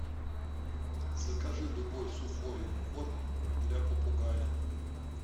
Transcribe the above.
закажи любой сухой корм для попугая